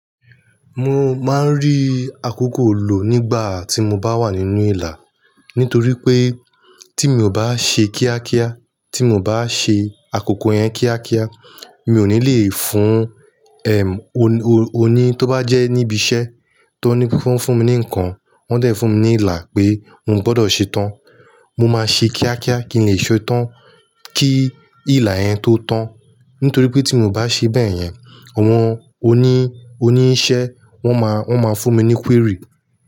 Mo máa ń rí akoko lò nígbà tí mo bá wà nínú ìlà. Nítorí pé tí mi ò bá ṣe kíákíá, tí mo bá ṣe akoko yẹn kíákíá, mi ò ní le fún, ẹm, o-o-oni tó bá jẹ́ níbi iṣẹ́ tó ní fún, fún mi ní ǹkan, wọn dẹ̀ fún mi ní ìlà pé n o gbọdọ̀ ṣe tán. Mo máa ṣe kíákíá kí n lè ṣe é tán kí ìlà yẹn tó tán. Nítorí pé tí mi ò bá ṣe bẹ́ẹ̀ yẹn, àwọn oní, oníṣẹ́ wọn máa, wọn máa fún mi ní query.